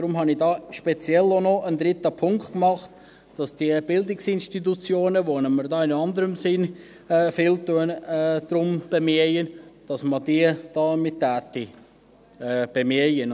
Deshalb habe ich speziell auch noch einen dritten Punkt gemacht, dass man die Bildungsinstitutionen bemühen würde, um die wir uns in anderem Sinn viel bemühen.